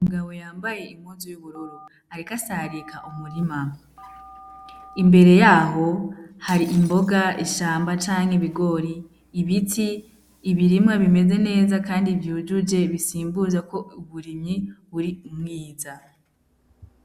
Umugabo yambaye imwozi y'uburoro arikasarika umurima imbere yaho hari imboga ishamba canke ibigori ibiti ibirimwa bimeze neza, kandi vyujuje bisimbuza ko uburimyi buri umwiza.